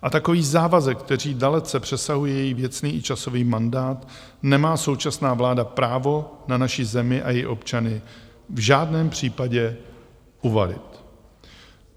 A takový závazek, který dalece přesahuje její věcný i časový mandát, nemá současná vláda právo na naši zemi a její občany v žádném případě uvalit.